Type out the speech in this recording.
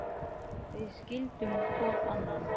Við skildum hvor annan.